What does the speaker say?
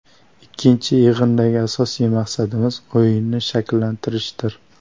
Ikkinchi yig‘indagi asosiy maqsadimiz o‘yinni shakllantirishdir.